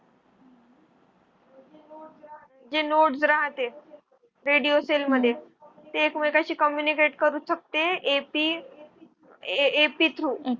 जे nodes राहते radio cell मध्ये ते एकमेकांशी communicate करू शकते. ap ap through